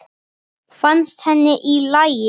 Fannst henni hún í lagi?